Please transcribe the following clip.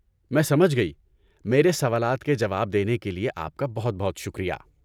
میں سمجھ گئی، میرے سوالات کا جواب دینے کے لیے آپ کا بہت بہت شکریہ۔